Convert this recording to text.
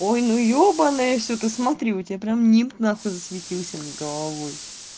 ой ну ёбаное всё ты смотри у тебя прям нимб нахуй засветился над головой